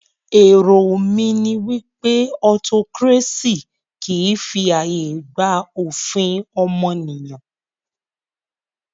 Èrò mí ní wípé autocracy kìí fi ààyè gba òfin ọmọnìyàn.